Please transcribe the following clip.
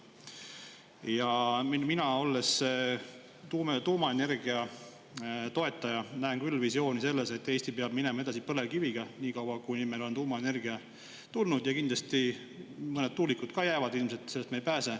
Ja mina, olles tuumaenergia toetaja, näen küll visiooni selles, et Eesti peab minema edasi põlevkiviga niikaua, kuni meil on tuumaenergia tulnud, ja kindlasti mõned tuulikud ka jäävad ilmselt, sellest me ei pääse.